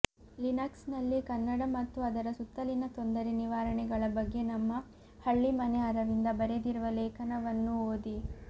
Linux ನಲ್ಲಿ ಕನ್ನಡ ಮತ್ತು ಅದರ ಸುತ್ತಲಿನ ತೊಂದರೆ ನಿವಾರಣೆಗಳ ಬಗ್ಗೆ ನಮ್ಮ ಹಳ್ಳಿಮನೆ ಅರವಿಂದ ಬರೆದಿರುವ ಲೇಖನವನ್ನೂ ಓದಿ